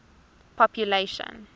population